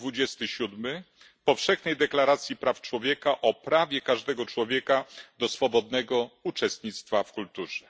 27 Powszechnej deklaracji praw człowieka o prawie każdego człowieka do swobodnego uczestnictwa w kulturze.